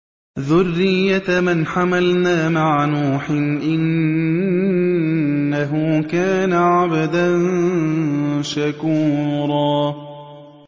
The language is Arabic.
ذُرِّيَّةَ مَنْ حَمَلْنَا مَعَ نُوحٍ ۚ إِنَّهُ كَانَ عَبْدًا شَكُورًا